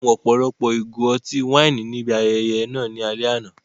Wọ́n mu ọ̀pọ̀lọpọ̀ ìgò ọtí wáìnì níbi ayẹyẹ náà ní alẹ́ àná.